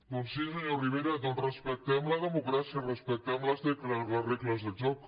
doncs sí senyor rivera respectem la democràcia respectem les regles del joc